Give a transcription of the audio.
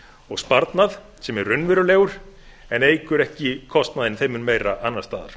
og sparnað sem er raunverulegur en eykur ekki kostnaðinn þeim mun meira annars staðar